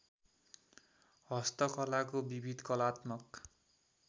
हस्तकलाको विविध कलात्मक